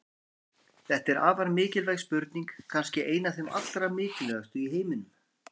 Þetta er afar mikilvæg spurning, kannski ein af þeim allra mikilvægustu í heiminum!